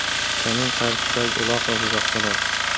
Kamin qarshisidagi uloq va buzoqchalar.